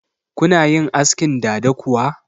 Kuna yin askin dada kuwa?